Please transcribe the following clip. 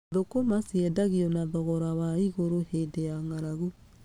Thũkũma ciendagio na thogora wa igũrũ hĩndĩ ya ng’aragu.